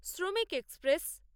শ্রমিক এক্সপ্রেস